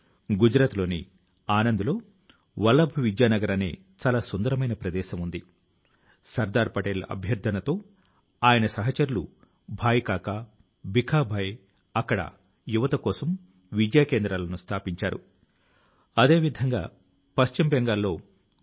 చౌరీ చౌరా ఆందోళన కావచ్చు కాకోరీ రైలు తాలూకు ఘటన కావచ్చు లేదంటే నేతాజీ సుభాష్ గారి అజేయమైనటువంటి సాహసం ఇంకా పరాక్రమం కావచ్చు ఈ డ్రోన్ శో అయితే అందరి మనసుల ను గెలుచుకొంది